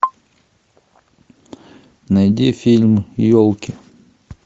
найди фильм елки